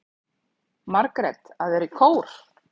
Margrét: Að vera í kór.